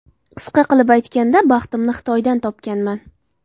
Qisqa qilib aytganda, baxtimni Xitoydan topganman.